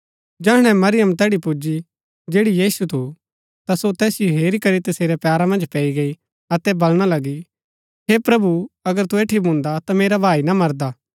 जैहणै मरियम तैड़ी पुजी जैड़ी यीशु थू ता सो तैसिओ हेरी करी तसेरै पैरा मन्ज पैई गई अतै बलणा लगी हे प्रभु अगर तू ऐठी भून्दा ता मेरा भाई ना मरदा